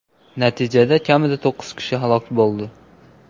Natijada kamida to‘qqiz kishi halok bo‘ldi.